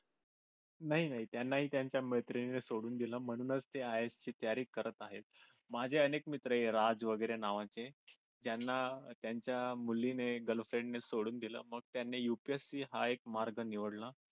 नाही नाही त्यांना त्यांच्या मैत्रिणीने सोडून दिल म्हणून ते IS ची तयारी करत आहे माझे अनेक मित्र राजू वगैरे नावाचे त्यांना यांच्या मुलीने girlfriend ने सोडून दिल मग त्यांनी UPSC हा एक मार्ग निवडला.